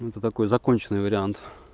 ну это такой законченный вариант